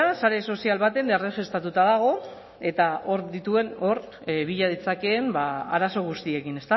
sare sozial batean erregistratuta dago eta hor bila ditzakeen arazo guztiekin